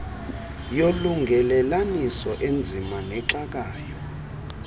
yolungelelaniso enzima nexakayo